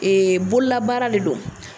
bololabaara le do.